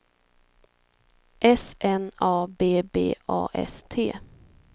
S N A B B A S T